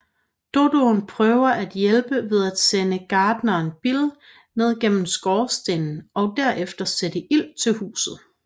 Dodoen prøver at hjælpe ved at sende garteren Bill ned gennem skorstenen og derefter sætte ild til huset